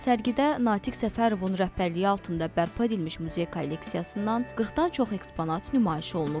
Sərgidə Natiq Səfərovun rəhbərliyi altında bərpa edilmiş muzey kolleksiyasından 40-dan çox eksponat nümayiş olunub.